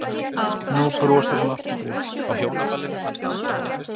Nú brosir hann aftur breitt.